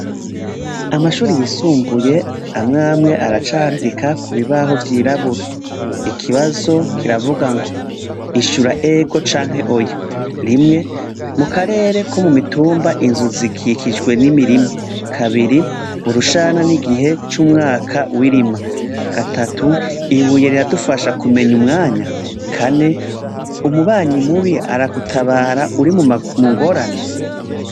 Amashure yisumbuye amw’amwe aracandika kubibaho vyirabura, ikibazo kiravugango, ishura ego canke Oya. Rimwe, mukarere ko mumitumba Inzu zikikijwe n’imirima? Kabiri, urushana nigihe c’umwaka w’irima? Gatatu, ibuye riradufasha kumenya umwanya? kane, umubanyi mubi aragutabara uri mungorane?